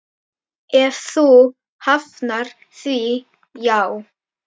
Ef þú hafnar því, já.